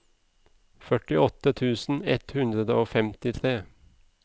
førtiåtte tusen ett hundre og femtitre